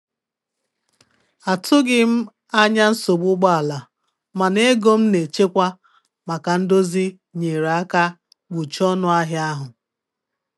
Atụghị m anya nsogbu ụgbọ ala, mana ego m na-echekwa maka ndozi nyeere aka kpuchie ọnụ ahịa ahụ.